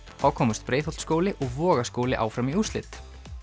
þá komust Breiðholtsskóli og Vogaskóli áfram í úrslit